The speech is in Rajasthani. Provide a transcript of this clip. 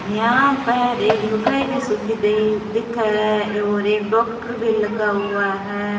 यहाँ पर एक लुगाई भी सूती दी दिखे और एक डॉक्टर भी लगा हुआ है।